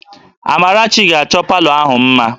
Amarachi ga-achọ palọ ahụ mma